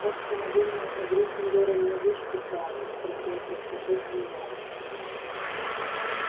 так что наверное у гриффиндора не вычтут баллы спросил с беспокойством гарри